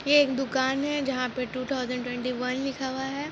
ये एक दुकान है जहां पे टू थाउजंड ट्वेंटी वन लिखा हुआ है।